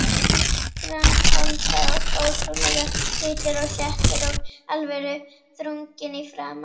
Grannholda og ótrúlega hvítur og sléttur og alvöruþrunginn í framan.